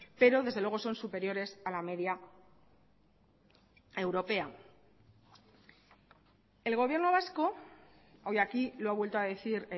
pero desde luego son superiores a la media europea el gobierno vasco hoy aquí lo ha vuelto a decir